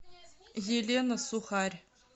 елена сухарь